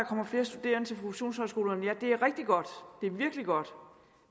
kommer flere studerende til professionshøjskolerne ja det er rigtig godt det er virkelig godt